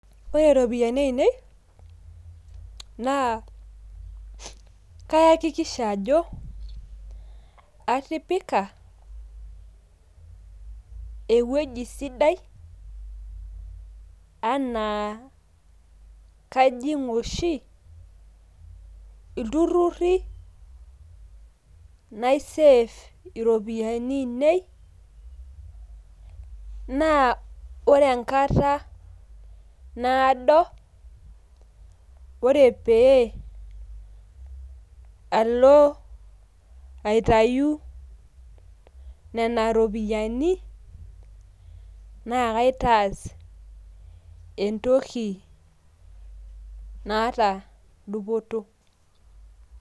Ore iropiyiani ainei, naa kaakikisha ajo, atipika ewueji sidai enaa kajing' oshi ilturrurri naisef iropiyiani ainei, naa ore enkata naado, ore pee alo aitayu nena ropiyaiani, na kaitaas entoki naata dupoto.